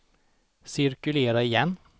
cirkulera igen